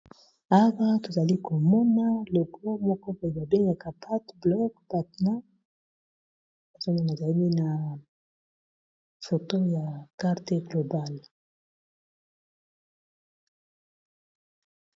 Awa tozali komona logo moko pe babengaka patt blog patna bazonga a i na foto ya karte globale.